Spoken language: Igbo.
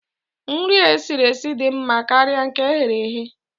Nri e siri esi dị mma karịa nke eghere eghe